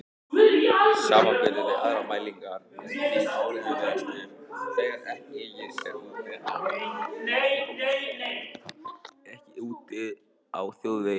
Samanburður við aðrar mælingar er því áreiðanlegastur þegar ekið er úti á þjóðvegi.